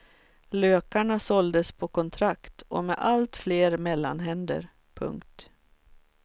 Lökarna såldes på kontrakt och med allt fler mellanhänder. punkt